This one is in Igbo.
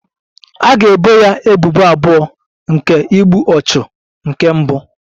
A ga-ebo ya ebubo abụọ nke igbu ọchụ nke mbụ